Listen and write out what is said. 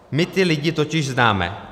My ty lidi totiž známe.